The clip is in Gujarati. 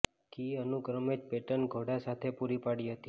કી અનુક્રમે જ પેટર્ન ઘોડા સાથે પૂરી પાડી હતી